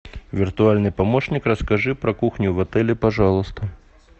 виртуальный помощник расскажи про кухню в отеле пожалуйста